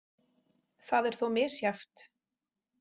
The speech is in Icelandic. Það er þó misjafnt.